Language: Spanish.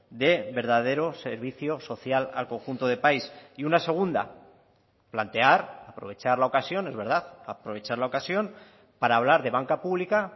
de verdadero servicio social al conjunto de país y una segunda plantear aprovechar la ocasión es verdad aprovechar la ocasión para hablar de banca pública